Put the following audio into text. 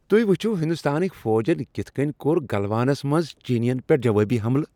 تُہی وُچھو ہندوستانٕکۍ فوجن کِتھ کٔنۍ کوٚر گلوانس منز چینین پیٹھ جوٲبی حملہٕ ۔